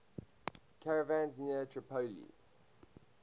caravans near tripoli